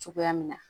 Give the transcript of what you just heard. Cogoya min na